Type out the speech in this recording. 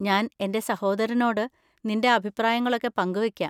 ഞാൻ എൻ്റെ സഹോദരനോട് നിൻ്റെ അഭിപ്രായങ്ങളൊക്കെ പങ്കുവെക്കാം.